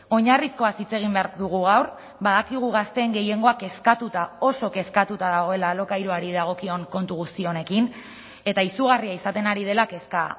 oinarrizkoaz hitz egin behar dugu gaur badakigu gazteen gehiengoa kezkatuta oso kezkatuta dagoela alokairuari dagokion kontu guzti honekin eta izugarria izaten ari dela kezka